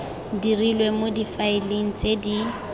dirilwe mo difaeleng tse di